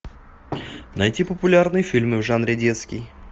найти популярные фильмы в жанре детский